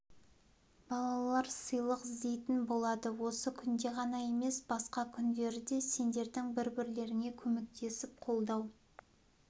балалар сыйлық іздейтін болады осы күнде ғана емес басқа күндері де сендердің бір-бірлеріңе көмектесіп қолдау